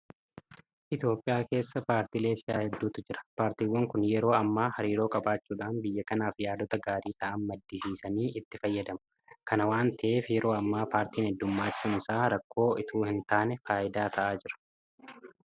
Itoophiyaa keessa paartiilee siyaasaa hedduutu jira. Paartiiwwan kun yeroo ammaa hariiroo qabaachuudhaan biyya kanaaf yaadota gaarii ta'an maddisiisanii itti fayyadamu. Kana waanta ta'eef yeroo ammaa paartiin heddummachuun isaa rakkoo itoo hintaane faayidaa ta'aa jira.